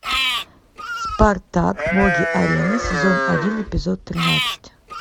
спартак боги арены сезон один эпизод тринадцать